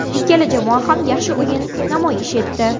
Ikkala jamoa ham yaxshi o‘yin namoyish etdi.